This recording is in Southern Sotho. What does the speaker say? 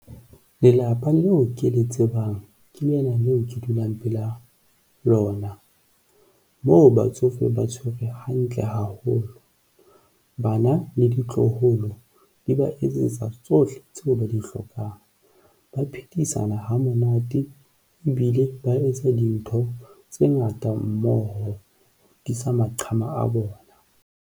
Lelapa leo ke le tsebang ke lena leo ke dulang pela lona. Moo, batsofe ba tshwerwe hantle haholo, bana le ditloholo di ba etsetsa tsohle tseo ba di hlokang, ba phedisana ha monate ebile ba etsa dintho tse ngata mmoho ho tiisa maqhama a bona.